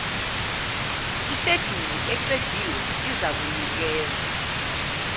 isheduli eqediwe izakunikezwa